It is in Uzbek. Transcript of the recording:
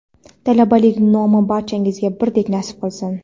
Talabalik nomi barchangizga birdek nasib qilsin.